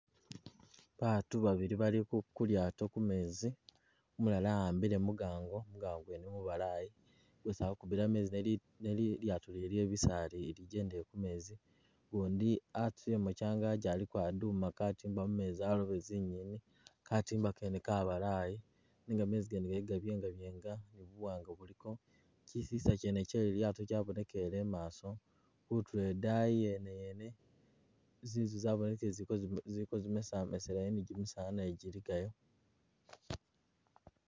Baatu babili bali kulyaato kumeezi umulala ahambile mugango mugango gwene mubalayi gwesi ali kukubila meezi niye lyaato lyene lyebisaal lijendele kumeezi gundi atusilemo kyangagi aliko aduma katima mumeezi alobe zinyeeni katimba kene kabalayi nenga meezi gene giliko gabyengabyenga ni buwanga buliko kyisisa kyene kyelilyaato kyabonekelele imaso kuturo idani yeneyene zinzu zabonekele ziliko zimesamesa ni gimisaala naye giligayo.